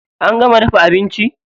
An gama dafa abinci?